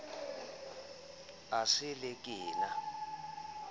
e sa le ke na